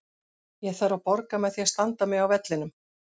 Ég þarf að borga með því að standa mig á vellinum.